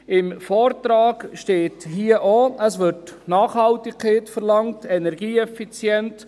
Im Vortrag steht hier auch, es werde Nachhaltigkeit und Energieeffizienz verlangt.